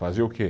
Fazer o quê?